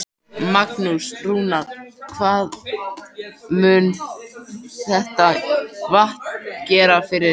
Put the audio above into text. Magnús: Rúnar, hvað mun þetta vatn gera fyrir ykkur?